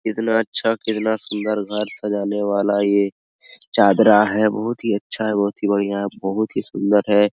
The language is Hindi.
इतना अच्छा कितना सुन्दर घर सजाने वाला ये चादरा है बहोत ही अच्छा बहोत ही बढ़िया बहोत ही सुन्दर है।